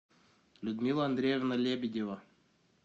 людмила андреевна лебедева